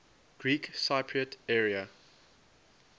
greek cypriot area